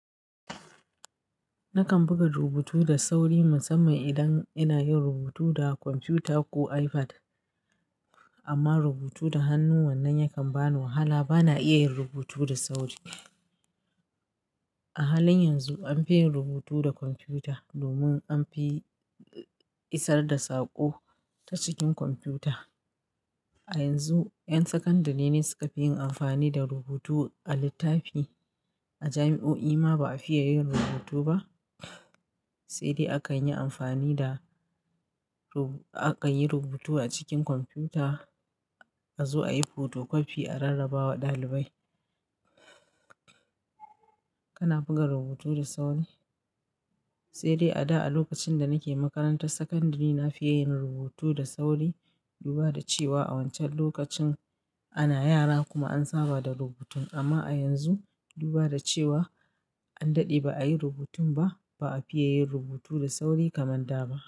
Nakan buga rubutu da sauri musamman idan ina yin rubutu da kwamfuta ko iPad amma rubutu da hannu wannan yakan bani wahala bana iya yin rubutu da sauri. A halin yanzu an fi yin rubutu da kwamfuta domin an fi isar da saƙo ta cikin kwamfuta. A yanzu 'yan sakandare ne suka fi yin amfani da rubutu a littafi. A jami'o'i ma ba a fiya yin rubutu ba, sai dai akan yi amfani da, rubu-- aka yi rubutu a cikin kwamfuta a zo a yi fotokofi a rarraba wa ɗalibai. Kana buga rubutu da sauri? Sai dai a da a lokacin da nake makarantar sakandare na fi ya yin rubutu da sauri. Duba da cewa a wancan lokacin ana yara kuma an saba da rubutun amma a yanzu, duba da cewa an daɗe ba a yi rubutun ba, ba a fiye yin rubutu da sauri kamar da ba.